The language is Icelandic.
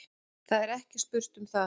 Það er ekki spurt um það.